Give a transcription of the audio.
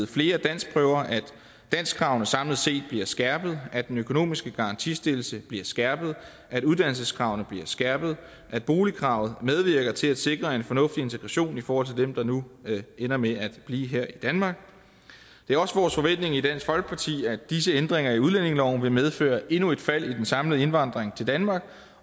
flere danskprøver at danskkravene samlet set bliver skærpet at den økonomiske garantistillelse bliver skærpet at uddannelseskravene bliver skærpet at boligkravet medvirker til at sikre en fornuftig integration i forhold til dem der nu ender med at blive her i danmark det er også vores forventning i dansk folkeparti at disse ændringer i udlændingeloven vil medføre endnu et fald i den samlede indvandring til danmark